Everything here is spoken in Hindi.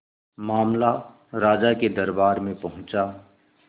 मामला राजा के दरबार में पहुंचा